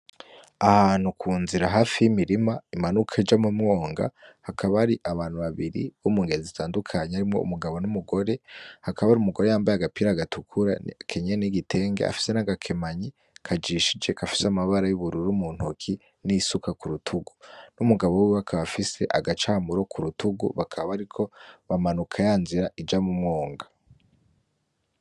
Ahantu kunzira hafi yimirima imanuka ija mumwonga hakaba hari abantu babiri bo mungeri zitandukanye harimwo umugabo numugore hakaba harimwo umugore yambaye agapira gatukura akenyeye nigitenge afise nagakemanyi kajishije gafise namabara yubururu muntoke nisuka kurutugu numugabo wiwe akaba afise agacamuru kurutugu bakaba bariko bamanuka yanzira ija mumwonga